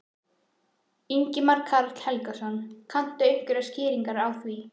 Ingimar Karl Helgason: Kanntu einhverjar skýringar á því?